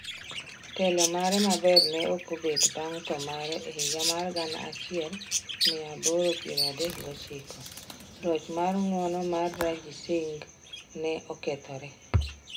Telo mare maber ne okbet bang' tho mare e higa mar gana achiel mia aboro piero adek gi ochiko, loch mar ng'uono mar Ranjit Singh ne okethore.